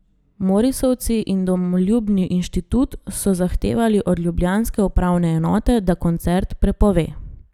Morisovci in domoljubni inštitut so zahtevali od ljubljanske upravne enote, da koncert prepove.